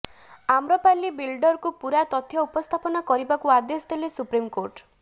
ଆମ୍ରପାଲ୍ଲୀ ବିଲ୍ଡରକୁ ପୁରା ତଥ୍ୟ ଉପସ୍ଥାପନା କରିବାକୁ ଆଦେଶ ଦେଲେ ସୁପ୍ରିମକୋର୍ଟ